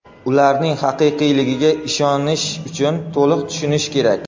Ularning haqiqiyligiga ishonish uchun to‘liq tushunish kerak.